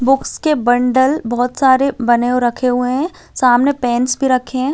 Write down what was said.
Books के bundle बहुत सारे बने रखे हुए है सामने पेंस भी रखे हैं।